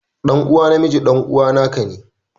Ɗan uwa na miji ɗan'uwana ka ne.